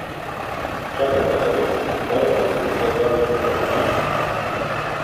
Čakata ga mesec in pol ali celo dva meseca počitka.